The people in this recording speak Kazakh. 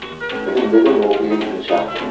білім деген ол ең бірінші ақпарат